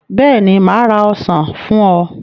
Bẹ́ẹ̀ ni, mà á ra ọsàn fún ọ.